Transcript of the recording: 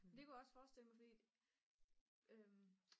det kunne jeg også forestille mig fordi